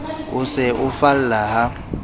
o se o falla ha